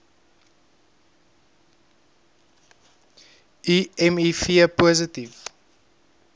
u miv positief